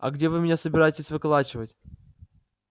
а где вы меня собираетесь выколачивать